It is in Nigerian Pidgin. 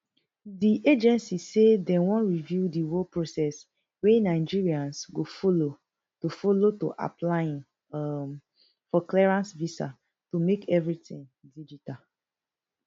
di agency say dem wan review di whole process wey nigerians go follow to follow to applying um for clearance visa to make everytin digital